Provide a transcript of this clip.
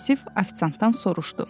Vasif ofisiantdan soruşdu.